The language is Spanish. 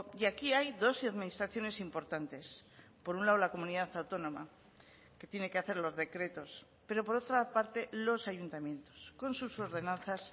y aquí hay dos administraciones importantes por un lado la comunidad autónoma que tiene que hacer los decretos pero por otra parte los ayuntamientos con sus ordenanzas